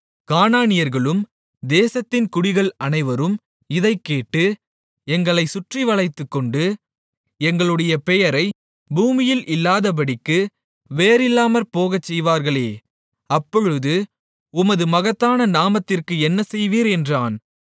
கானானியர்களும் தேசத்தின் குடிகள் அனைவரும் இதைக்கேட்டு எங்களைச் சுற்றி வளைத்துக்கொண்டு எங்களுடைய பெயரை பூமியில் இல்லாதபடிக்கு வேரில்லாமற்போகச் செய்வார்களே அப்பொழுது உமது மகத்தான நாமத்திற்கு என்ன செய்வீர் என்றான்